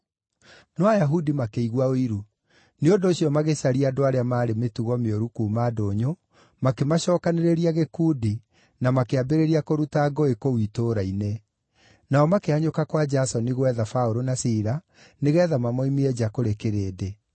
No Ayahudi makĩigua ũiru; nĩ ũndũ ũcio magĩcaria andũ arĩa maarĩ mĩtugo mĩũru kuuma ndũnyũ, makĩmacookanĩrĩria gĩkundi, na makĩambĩrĩria kũruta ngũĩ kũu itũũra-inĩ. Nao makĩhanyũka kwa Jasoni gwetha Paũlũ na Sila nĩgeetha mamoimie nja kũrĩ kĩrĩndĩ.